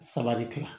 Saba de kila